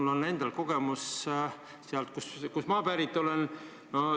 Mul on endal kogemus sealt, kust ma pärit olen.